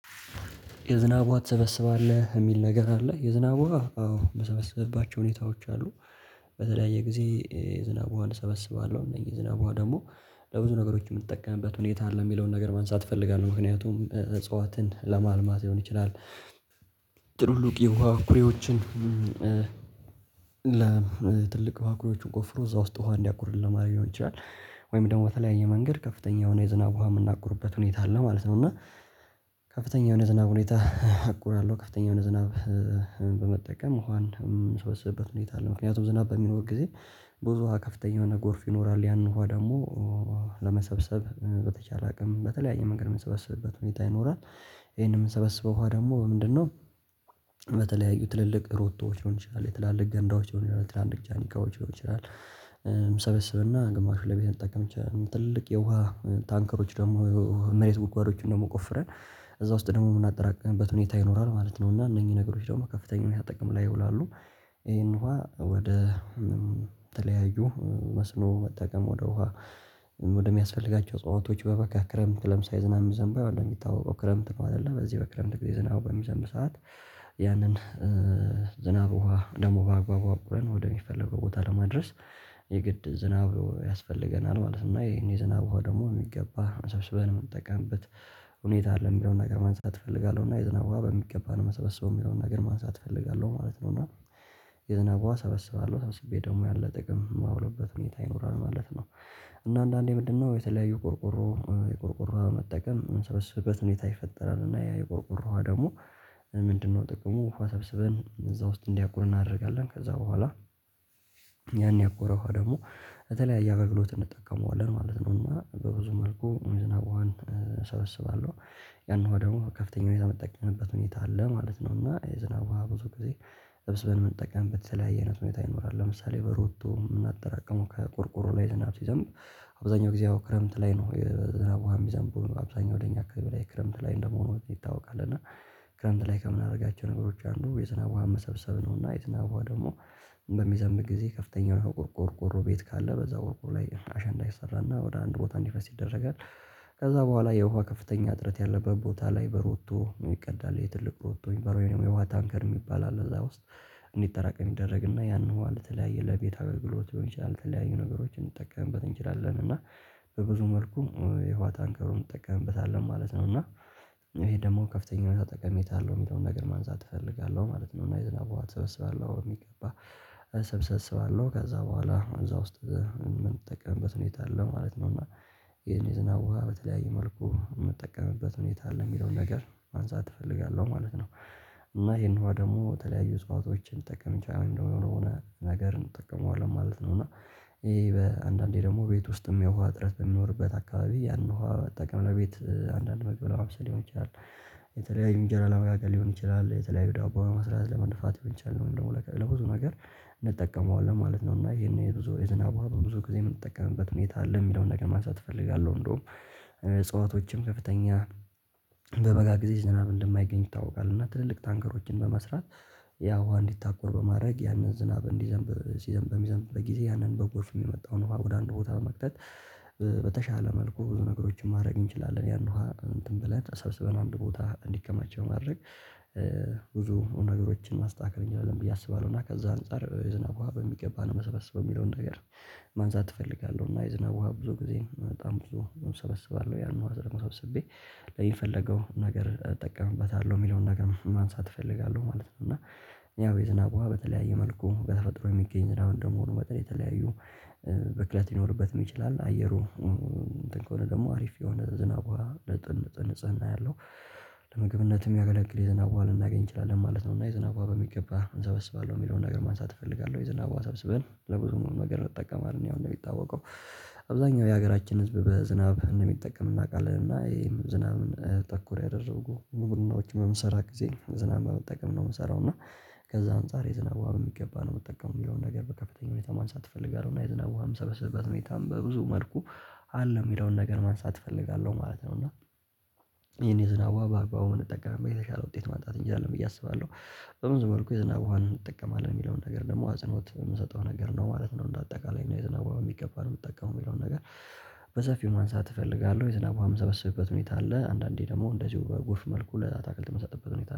የዝናብ ውሃ ትሰበስባለህ የሚል ነገር አለ? የዝናብ ውሃ አዎ የምሰበስብባቸው ሁኔታዎች አሉ። በተለያየ ጊዜ የዝናብን ውሃ እሰበስባለሁ። እነኚህ ዝናብ ውሃ ደግሞ ለብዙ ነገሮች የምጠቀምበት ሁኔታ አለ የሚለውን ነገር ለማንሳት እፈልጋለሁ። ምክንያቱም እጽዋትን ለማልማት ሊሆን ይችላል። ትልልቅ የውሃ ኩሬዎችን። ኩሪዎችን ቆፍሮ እዛ ውስጥ ውሃ እንዲያቁር ለማድረግ ሊሆን ይችላል። ወይም ደግሞ በተለያየ መንገድ ከፍተኛ የሆነ የዝናብ ውሃ የምናቁርበት ሁኔታ አለ ማለት ነው። እና ከፍተኛ የሆነ ዝናብ ሁኔታ አቁራለሁ። ከፍተኛ የሆነ ዝናብ በመጠቀም ውሃን የምሰበስብበት ሁኔታ አለ። ምክንያቱም ዝናብ በሚኖር ጊዜ ብዙ ውሃ ከፍተኛ የሆነ ጎርፍ ይኖራል። ያንን ውሃ ደግሞ በተቻለ አቅም በተለያየ መንገድ የምንሰበስብበት ሁኔታ ይኖራል። ይሄንን የምንበስበው ውሃ በምንድነው? በተለያዩ ትልልቅ ሮቶዎች ሊሆን ይችላል የትላልቅ ገንዳዎች ሊሆን ይችላል ትላልቅ ጃኒካዎች ሊሆን ይችላል። እሰበስብና ግማሹን ለቤት ልንጠቀም እንችላለን። ትልቅ የውሃ ታንከሮች ደግሞ መሬት ጉጓዶችን ደግሞ ቆፍረን እዛ ውስጥ ደግሞ የምናጠራቅምበት ሁኔታ ይኖራል ማለት ነው። እና እነኚህ ነገሮች ደግሞ ከፍተኛ ጥቅም ላይ ይውላሉ። ይሄን ውሃ ወደ ተለያዩ መስኖ መጠቀም ወደ ውሃ ወደሚያስፈልጋቸው እጽዋቶች በበጋ ክረምት ለምሳሌ ዝናብ የሚዘንበው አለ የሚታወቀው ክረምት ነው። አይደለ በዚህ በክረምት ጊዜ ዝናብ በሚዘንብ ሰዓት ያንን ዝናብ ውሃ ደግሞ በአግባቡ አቁርን ወደሚፈለገው ቦታ ለማድረስ የግድ ዝናብ ያስፈልገናል ማለት ነው። እና ይህን ዝናብ ውሃ ደግሞ በሚገባ ሰብስበን የምንጠቀምበት ሁኔታ አለም የሚለውን ነገር ማንሳት እፈልጋለሁ። እና የዝና ውሃ በሚገባ ነው የምሰበሰበው የሚለውን ነገር ማንሳት እፈልጋለሁ ማለት ነው። እና የዝናብ ውሃ እሰበስባለሁ ሰብስቤ ደግሞ ያን ለጥቅም ማውልበት ሁኔታ ይኖራል ማለት ነው። እና አንዳንዴ ምንድ? ነው የተለያዩ ቆርቆሮ የቆርቆሮ ውሃ መጠቀም የምሰበስብበት ሁኔታ ይፈጠራል። እና ያ የቆርቆሮ ውሃ ደግሞ ምንድነው? ጥቅሙ ውሃ ሰብስበን እዛ ውስጥ እንዲያቁር እናደርጋለን። ከዛ በኋላ ያን ያቆረ ውሃ ደግሞ በተለያየ አገልግሎት እንጠቀመዋለን ማለት ነው። እና በብዙ መልኩ የዝናብ ውሃ እሰበስባለሁ። ያንን ውሃ ደግሞ ከፍተኛ ሁኔታ የምጠቀምበት ሁኔታ አለ ማለት ነው። እና የዝናብ ውሃ ብዙ ጊዜ ሰብስበን የምንጠቀምበት የተለያየ አይነት ሁኔታ ይኖራል። ለምሳሌ በሮቶ የምናጠራቅመው ከቁርቁሮ ላይ ዝናብ ሲዘንብ አብዛኛው ጊዜ ያው ክረምት ላይ ነው የዝናብ ውሃ የሚዘንበው አብዛኛው ወደ እኛ አካባቢ ላይ ክረምት ላይ እንደመሆኑ ይታወቃል። እና ክረምት ላይ ከምናደርጋቸው ነገሮች አንዱ የዝናብን ውሃ መሰብሰብ ነው። እና የዝናብ ውሃ ደግሞ በሚዘንብ ጊዜ ከፍተኛ የሆነ ቆርቆሮ ቆርቆሮ ቤት ካለ በዛው ቆርቆሮ ላይ አሸንዳ ይሰራና ወደ አንድ ቦታ እንዲፈስ ይደረጋል። ከዛ በኋላ የውሃ ከፍተኛ እጥረት ያለበት ቦታ ላይ በሮቶ ይቀዳል ትልቅ ሮቶ የሚባለው ወይም የውሃ ታንከር ሚባል አለ እዛ ውስጥ እንዲጠራቀም ይደረግና ያንን ውሃ ለተለያየ ለቤት አገግሎት ሊሆን ይችላል። የተለያዩ ነገሮችን እንጠቀምበት እንችላለን እና በብዙ መልኩ የውሃ ታንከሩን ትጠቀምበታለህ ማለት ነው። እና ይሄ ደግሞ ከፍተኛ የሆነ ጠቀሜታ አለው። የሚለውን ነገር ማንሳት እፈልጋለሁ ማለት ነው እና የዝናብ ትሰብስባለህ ወይ? የሚገባ እሰበስባለው ከዛ በኋላ እዛ ውስጥ የምንጠቀምበት ሁኔታ አለ ማለት ነው። እና ይሄን ዝናብ ውሃ በተለያየ መልኩ የምጠቀምበት ሁኔታ አለ የሚለውን ነገር ማንሳት እፈልጋለሁ ማለት ነው። እና ይሄን ውሃ ደግሞ ተለያዩ እጽዋቶችን ልንጠቀም እችላለን ወይም ደግሞ ለሆነ ሆነ ነገር እንጠቀመዋለን ማለት ነው። እና ይሄ በአንዳንዴ ደግሞ ቤት ውስጥም የውሃ እጥረት በሚኖርበት አካባቢ ያንን ውሃ ልጠቀም ለቤት አንዳንድ ምግብ ለማብሰል ሊሆን ይችላል። የተለያዩ እንጀራ ለመጋገር ሊሆን ይችላል የተለያዩ ዳቦ ለመስራት ለመድፋት ሊሆን ይችላል ወይን ደግሞ ለብዙ ነገር እንጠቀመዋለን ማለት ነውና ይህን የዝናብ ውሃ በብዙ ጊዜ የምንጠቀምበት ሁኔታ አለ የሚለውን ነገር ማንሳት እፈልጋለው። እንደውም እፅዋቶችም ከፍተኛ በበጋ ሁል ጊዜ ዝናብ እንደማይገኝ ይታወቃል። እና ትልልቅ ታንከሮች በመስራት ያ ውሃ እንዲታቆር በማድርግ ያንን ዝናብ እንዲዘንብ ሲዘንብ በሚዘንብበት ጊዜ ያንን በጎርፍ የመጣውን ውሃ ወደ አንድ ቦታ በመክተት በተሻለ መልኩ ብዙ ነገሮችን ማድረግ እንችላለን። ይህን ውሃ እንትን ብለን ሰብስበን አንድ ቦታ እንዲከማች በማድረግ ብዙ ነገሮችን ማስተካከል እንችላለን። ብዬ አስባለው እና ከዛ አንፃር የዝናብ ውሃ በሚገባ ነው የምሰበስበው የሚለውን ነገር ማንሳት እፈልጋለሁ። እና የዝናብ ውሃ ብዙ ጊዜ በጣም ብዙ እሰበስባለሁ ያን ውሃ ደግሞ ሰብስቤ ለምፈልገው ነገር እጠቀምበታለሁ የሚለውን ነገር ማንሳት እፈልጋለሁ ማለት ነው። እና ያው የዝናብ ውሃ በተለያየ መልኩ በተፈጥሮ የሚገኝ እንደመሆኑ መጠን የተለያዩ ብክለት ሊኖርበትም ይችላል። አየሩ እንትን ከሆነ ደግሞ አሪፍ የሆነ ዝናብ ውሃ ንጽህና ያለው ለምግብነት የሚያገለግል የዝናብ ውሃ ልናገኝ እንችላለን ማለት ነው። እና የዝናብ ውሃ በሚገባ እሰበስባለሁ የሚለውን ነገር ማንሳት እፈልጋለው። የዝናብ ውሃ ሰብስበን ለብዙ ነገር እንጠቀማለን ያው እንደሚታወቀው አብዛኛው የሀገራችን ህዝብ በዝናብ እንደሚጠቀም እናውቃለን። እና እህም ዝናብ ተኮር ያደረጉ ግብርናዎች በምሰራበት ጊዜ ዝናብ በመጠቀም ነው ምሰራውና እና ከዛ አንፃር የዝናብ ውሃ በሚገባ ነው የምጠቀመው የሚለው ነገር በከፍተኛ ሁኔታ ማንሳት እፈልጋለው። እና የዝናብ ውሃ የምሰበስብበት ሁኔታ በብዙ መልኩ አለ የሚለውን ነገር ማንሳት እፈልጋለው ማለት ነው። እና ይህን የዝናብ ውሃ በአግባቡ ብንጠቀም የተሻለ ውጤት ማምጣት እንችላለን ብዬ አስባለሁ። በብዙ መልኩ የዝናብ ውሃ እንጠቀማለን የሚለውን ነገር ደግሞ አጽኖት የምሰጠው ነገር ነው ማለት ነው። እንደ አጠቃላይ የዝናብ ውሃ በሚገባ እንጠቀም የሚለው ነገር በሰፊው ማንሳት እፈልጋለሁ። የዝናብ ውሃ የምሰበስብበት ሁኔታ አለ አንዳንዴ ደግሞ እንደዚሁ በጎርፍ መልኩ ለአትክልት የምሰጥበት ሁኔታ አለ